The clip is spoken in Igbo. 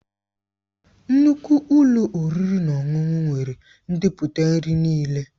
Nnukwu ụlọ oriri na ọṅụṅụ nwere ndepụta nri niile.